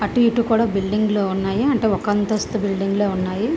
అటు ఇటు కూడా బిల్డింగ్ లు ఉన్నాయి అంటే ఒక అంతస్థు బిల్డింగ్ లు ఉన్నాయి.